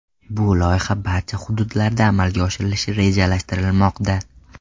Bu loyiha barcha hududlarda amalga oshirilishi rejalashtirilmoqda.